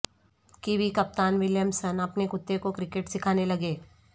kiwi captain Williamson اپنے کتے کو کرکٹ سکھانے لگے